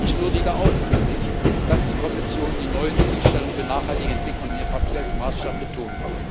Ich würdige ausdrücklich, dass die Kommission die neuen Zielstellungen für nachhaltige Entwicklung in ihrem Papier als Maßstab betont.